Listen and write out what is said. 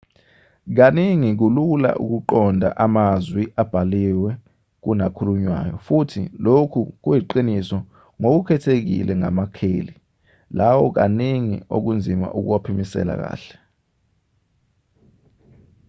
kaningi kulula ukuqonda amazwi abhaliwe kunakhulunywayo futhi lokhu kuyiqiniso ngokukhethekile ngamakheli lawo kaningi okunzima ukuwaphimisela kahle